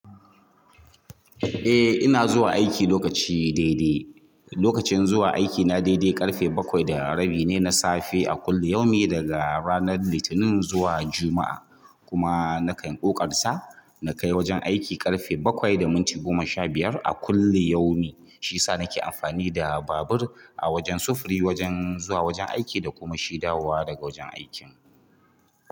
Eh ina zuwa aiki lokaci daidai. Lokacin zuwa aiki na daidai ƙarfe bakwai da rabi ne na safe a kullum, yau mi daga ranar Litinin zuwa Juma'a. Kuma nakan ƙoƙarsa na kai wajen aiki ƙarfe bakwai da minti goma sha biyar a kullu yau mi. Shiyasa nake amfani da babur a wajen sufuri, wajen zuwa wajen aiki da kuma shi dawowa daga wajen aikin.